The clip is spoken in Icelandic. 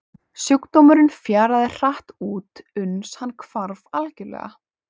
Sjúkdómurinn fjaraði hratt út uns hann hvarf algjörlega.